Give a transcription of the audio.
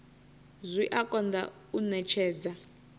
zwi a konḓa u ṅetshedza